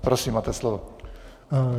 Prosím, máte slovo.